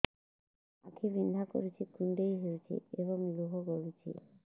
ଆଖି ବିନ୍ଧା କରୁଛି କୁଣ୍ଡେଇ ହେଉଛି ଏବଂ ଲୁହ ଗଳୁଛି